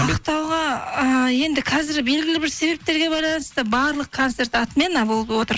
ақтауға ыыы енді қазір белгілі бір себептерге байланысты барлық концерт отмена болып отыр